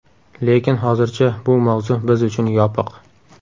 Lekin hozircha bu mavzu biz uchun yopiq.